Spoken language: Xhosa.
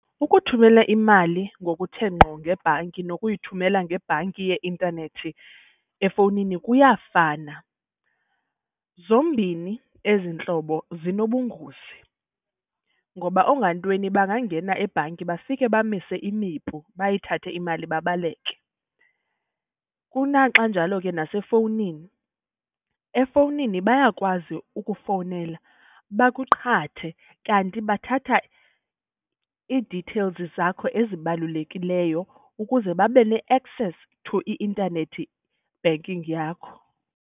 Ukuthumela imali ngokuthe ngqo ngebhanki nokuyithumela ngebhanki yeintanethi efowunini kuyafana. Zombini ezi ntlobo zinobungozi ngoba oongantweni bangangena ebhanki bafike bamise imipu bayithathe imali babaleke. Kunaxa njalo ke nasefowunini, efowunini bayakwazi ukufowunela bakuqhathe kanti bathatha ii-details zakho ezibalulekileyo ukuze babe ne-access to i-intanethi banking yakho.